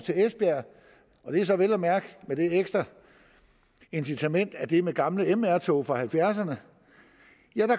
til esbjerg og det er så vel at mærke med det ekstra incitament at det er med gamle mr tog fra nitten halvfjerdserne